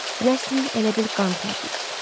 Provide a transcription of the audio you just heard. Rəsm elə bil qan tərləyib.